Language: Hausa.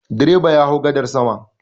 Direba ya hau gadar sama.